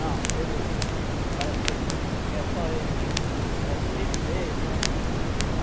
Não, Pedro parece que quer só ele, é do jeito dele, né?